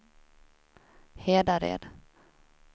Hedared